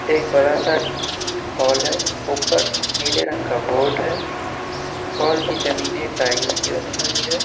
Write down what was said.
एक बड़ा सा हॉल हैऊपर नीले रंग का बोर्ड है और हॉल की जमीने टाइल्स की बनी हुई है।